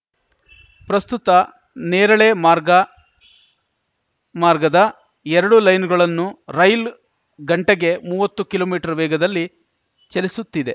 ಪ್ರಸ್ತುತ ನೇರಳೆ ಮಾರ್ಗ ಮಾರ್ಗದ ಎರಡು ಲೈನ್ ಗಳನ್ನೂ ರೈಲ್ ಗಂಟೆಗೆ ಮೂವತ್ತು ಕಿಲೋಮೀಟರ್ ವೇಗದಲ್ಲಿ ಚಲಿಸುತ್ತಿದೆ